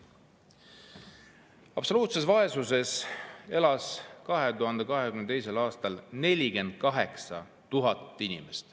Absoluutses vaesuses elas 2022. aastal 48 000 inimest.